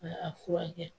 Ka a furakɛ